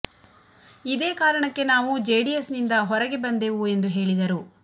ಇದೇ ಕಾರಣಕ್ಕೆ ನಾವು ಜೆಡಿಎಸ್ ನಿಂದ ಹೊರಗೆ ಬಂದೆವು ಎಂದು ಹೇಳಿದರು